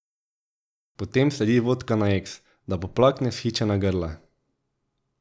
Potem sledi vodka na eks, da poplakne vzhičena grla.